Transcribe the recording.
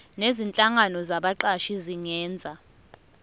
nezinhlangano zabaqashi zingenza